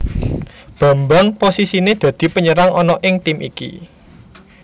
Bambang posisinè dadi penyerang ana ing tim iki